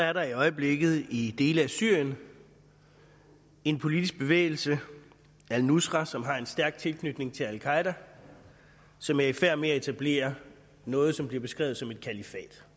er der i øjeblikket i dele af syrien en politisk bevægelse al nusra som har en stærk tilknytning til al qaeda som er i færd med at etablere noget som bliver beskrevet som et kalifat